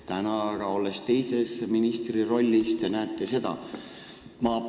Täna aga, olles teise ministri rollis, te näete seda ikkagi.